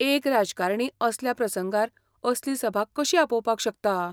एक राजकारणी असल्या प्रसंगार असली सभा कशी आपोवपाक शकता?